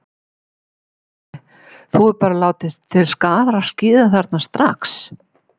Sölvi: Þú hefur bara látið til skarar skríða þarna strax?